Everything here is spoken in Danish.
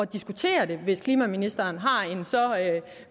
diskutere det hvis klimaministeren har en så